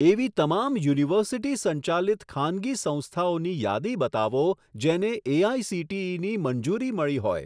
એવી તમામ યુનિવર્સિટી સંચાલિત ખાનગી સંસ્થાઓની યાદી બતાવો જેને એઆઇસીટીઈની મંજૂરી મળી હોય.